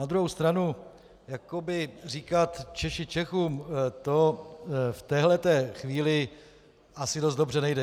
Na druhou stranu jakoby říkat: Češi Čechům, to v této chvíli asi dost dobře nejde.